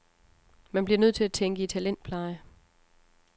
Man bliver nødt til at tænke i talentpleje.